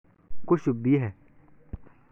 Ku shub biyaha.